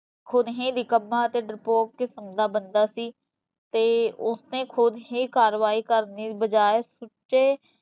ਖੁਣ ਹੀਂ ਨਿੱਕਮਾਂ ਅਤੇ ਡਰਪੋਕ ਨਿਫ਼ਨਗਾ ਬੰਦਾ ਸੀ ਤੇ ਉਸ ਨੇ ਖੁਦ ਹੀ ਕਾਰਵਾਈ ਕਰਨ ਦੀ ਵਜਾਏ ਸੁੱਚੇ